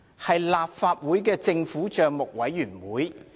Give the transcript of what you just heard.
是立法會政府帳目委員會。